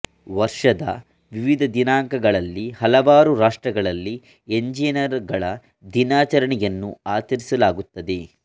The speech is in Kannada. ವರ್ಷದ ವಿವಿಧ ದಿನಾಂಕಗಳಲ್ಲಿ ಹಲವಾರು ರಾಷ್ಟ್ರಗಳಲ್ಲಿ ಎಂಜಿನಿಯರುಗಳ ದಿನಾಚರಣೆ ಅನ್ನು ಆಚರಿಸಲಾಗುತ್ತದೆ